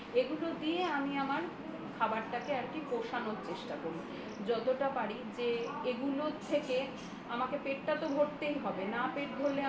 এগুলো দিয়ে আমি আমার খাবারটাকে পোষানোর চেষ্টা করি যতটা পারি যে এইগুলোর থেকে আমাকে পেটটা তো ভরতেই হবে না পেট ভরলে